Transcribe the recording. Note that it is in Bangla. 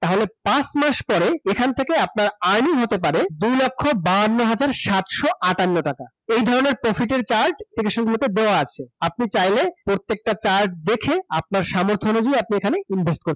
তাহলে পাঁচ মাস পরে, এখান থেকে আপনার earning হতে পারে, দুই লক্ষ বাওয়ান্ন হাজার সাতশো আটান্ন টাকা । এই ধরনের profit এর charge দেওয়া আছে। আপনি চাইলে প্রত্যেকটা charge দেখে আপনার সামর্থ অনুযায়ী আপনি এখানে invest করতে